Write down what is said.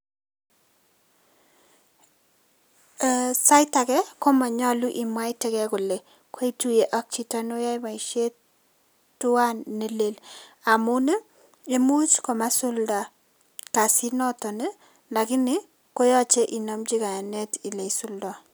Eeh sait age komonyolu imwaitegei kole koituye ak chito noyoe boisiet tuan ne lel amun ii imuch komasulda kasinoton ii koyoche inomchi kayanet ile isuldo.